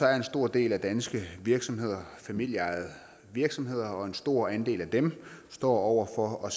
er en stor del af danske virksomheder familieejede virksomheder og en stor andel af dem står over for at